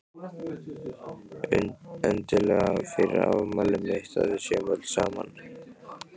Endilega fyrir afmælið mitt svo að við séum öll saman.